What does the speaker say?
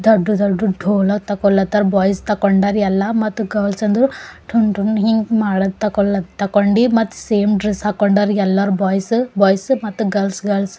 ದೊಡ್ಡ ದೊಡ್ಡ ಡೋಲಾ ತಗೋಲಾತಾರ ಬಾಯ್ಸ್ ತಕ್ಕೊಂಡಾರ ಎಲ್ಲಾ ಮತ್ತ ಗರ್ಲ್ಸ್ ಅಂತರು ಟುನ್ ಟುನ್ ಹಿ ಮಾಡತ್ ತಗೋಳ್ ತಕೊಂಡಿ ಮತ್ತ ಸೇಮ್ ಡ್ರೆಸ್ ಹಾಕೊಂಡಾರ ಎಲ್ಲಾರ ಬಾಯ್ಸ್ ಬಾಯ್ಸ್ ಮತ್ತ ಗರ್ಲ್ಸ್ ಗರ್ಲ್ಸ್ .